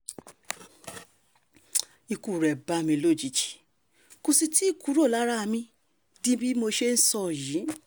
ikú rẹ̀ bá mi lójijì kó sì tì í kúrò lára mi di bí mo ṣe ń sọ yìí